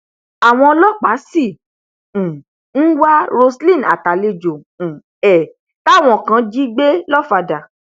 àwọn ọlọpàá sì um ń wá roselyn àtàlejò um ẹ táwọn kan jí gbé lọfàdà